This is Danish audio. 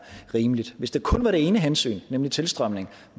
rimeligt hvis det kun var det ene hensyn nemlig tilstrømningen